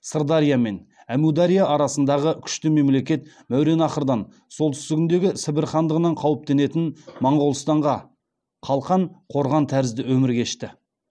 сырдария мен әмудария арасындағы күшті мемлекет мауреннахрдан солтүстігінде сібір хандығынан қауіптенетін моғолстанға қалқан қорған тәрізді өмір кешті